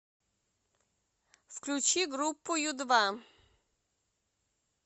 включи группу ю два